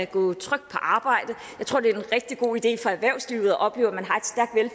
gå trygt på arbejde jeg tror det er en rigtig god idé for erhvervslivet at opleve at man